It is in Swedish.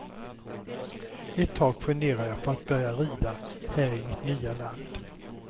Ett tag funderade jag på att börja rida här i mitt nya land.